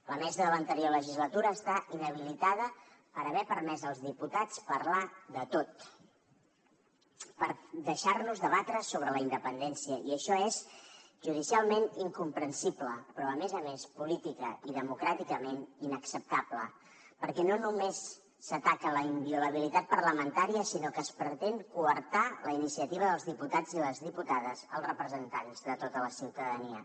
la mesa de l’anterior legislatura està inhabilitada per haver permès als diputats parlar de tot per deixar nos debatre sobre la independència i això és judicialment incomprensible però a més a més políticament i democràticament inacceptable perquè no només s’ataca la inviolabilitat parlamentària sinó que es pretén coartar la iniciativa dels diputats i les diputades els representants de tota la ciutadania